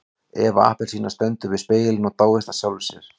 Eva appelsína stendur við spegilinn og dáist að sjálfri sér.